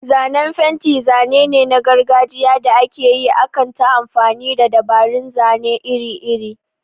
Zanen fenti zane ne na gargajiya da aka yi akan ta amfani da dabarun zane iri-iri.